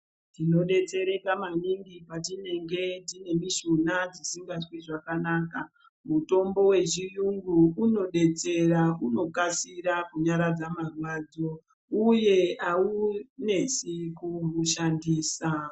Tinodetsereka maningi patinenge tine mushuna isingazwi zvakanaka mitombo yechiyungu unodetsera unokasira kunyaradza marwadzo uye haunesi kuushandisa.